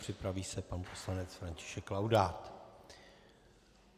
Připraví se pan poslanec František Laudát.